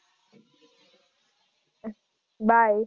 bye